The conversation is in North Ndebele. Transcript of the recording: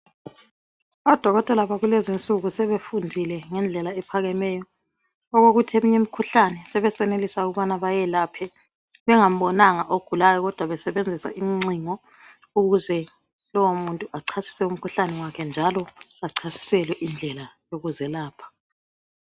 Odokotela bakulezinsuku sebefundile ngendlela ephakemeyo okokuthi eminye imikhuhlane sebesenelisa ukubana bayelaphe bengambonanga ogulayo kodwa besebenzisa incingo ukuze lowu muntu achasise umkhuhlane wakhe njalo achasiselwe indlela yokuzelapha.